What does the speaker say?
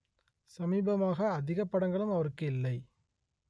சமீபமாக அதிக படங்களும் அவருக்கு இல்லை